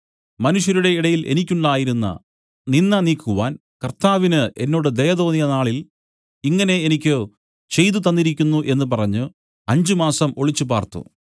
മനുഷ്യരുടെ ഇടയിൽ എനിക്കുണ്ടായിരുന്ന നിന്ദ നീക്കുവാൻ കർത്താവിന് എന്നോട് ദയ തോന്നിയ നാളിൽ ഇങ്ങനെ എനിക്ക് ചെയ്തുതന്നിരിക്കുന്നു എന്നു പറഞ്ഞു അഞ്ച് മാസം ഒളിച്ചു പാർത്തു